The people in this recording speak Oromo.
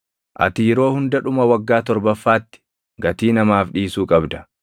Ati yeroo hunda dhuma waggaa torbaffaatti gatii namaaf dhiisuu qabda.